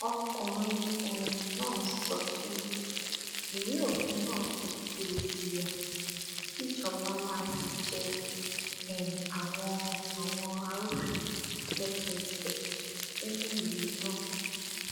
ọkùnrin um náà sọ pé ìwé òfin náà ti tó ìjìyà tíjọba máa fi jẹ um àwọn àwọn arúfin lẹsẹẹsẹ sínú ìwé náà